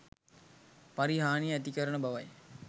පරිහානිය ඇතිකරන බවයි.